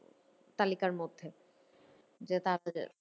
তালিকার মধ্যে যে তারাতারি